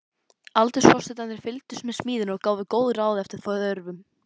Aldursforsetarnir fylgdust með smíðinni og gáfu góð ráð eftir þörfum.